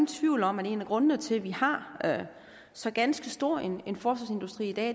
tvivl om at en af grundene til at vi har så ganske stor en en forsvarsindustri i dag